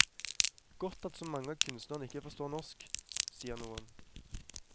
Godt at så mange av kunstnerne ikke forstår norsk, sier noen.